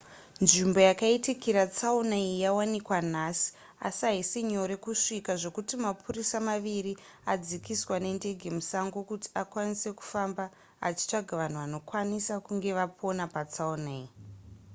nzvimbo yakaitikira tsaona iyi yawanikwa nhasi asi haisi nyore kusvika zvekuti mapurisa maviri adzikiswa nendege musango kuti akwanise kufamba achitsvaga vanhu vanokwanisa kunge vapona patsaona iyi